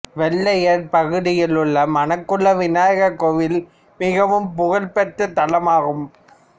வெள்ளையர் பகுதியில் உள்ள மணக்குள விநாயகர் கோவில் மிகவும் புகழ்பெற்றத் தலமாகும்